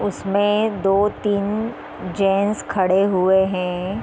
उसमें दो तीन जेन्ट्स खड़े हुए हैं।